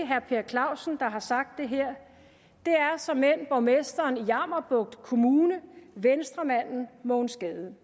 herre per clausen der har sagt det her det er såmænd borgmesteren i jammerbugt kommune venstremanden mogens gade